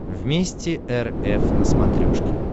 вместе эр эф на смотрешке